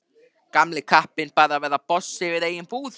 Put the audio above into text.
Gamli kappinn bara að verða boss yfir eigin búð.